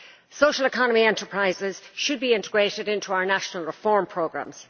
Social economy enterprises should be integrated into our national reform programmes.